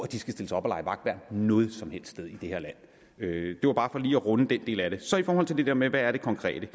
de skal stille sig op og lege vagtværn noget som helst sted i det her land det var bare for lige at runde den del af det så i forhold til det der med hvad det konkrete